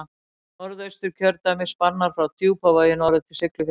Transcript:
Norðausturkjördæmi spannar frá Djúpavogi norður til Siglufjarðar.